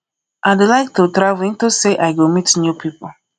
i dey like to travel into say i go meet new people